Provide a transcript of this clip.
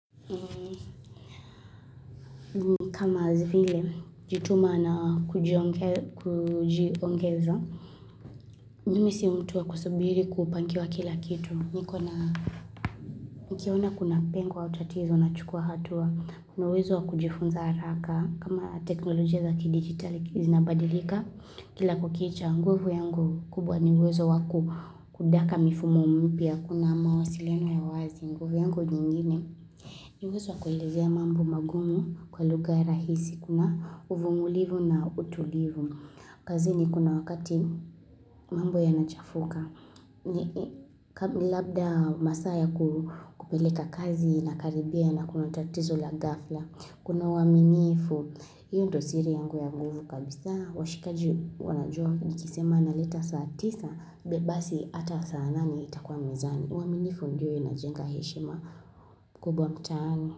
Kama vile, ujituma na kujiongeza ju mi si mtu wa kusubiri kupangiwa kila kitu Nikiona kuna pengo au tatizo nachukua hatua Kuna uwezo wa kujifunza haraka kama teknolojia za kidigitali zinabadilika Kila kukicha, nguvu yangu kubwa ni uwezo wakudaka mifumo mpya Kuna mawasiliano ya wazi, nguvu yangu nyingine ni uwezo wa kuelezea mambo magumu kwa lugha rahisi. Kuna uvungulivu na utulivu. Kazini kuna wakati mambo yanachafuka. Labda masaa ya kupeleka kazi ina karibia na kuna tatizo la ghafla. Kuna uwaminifu. Hio ndio siri yangu ya nguvu kabisa. Washikaji wanajua nikisema naleta saa tisa. Basi ata saa nane itakuwa mezani. Uwaminifu ndiyo inajenga heshima kubwa mtaani.